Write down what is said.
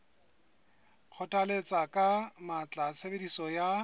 kgothalletsa ka matla tshebediso ya